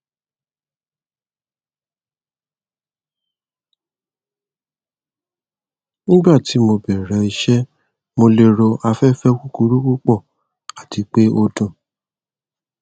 nigbati mo bẹrẹ iṣẹ mo lero afẹfẹ kukuru pupọ ati pe o dun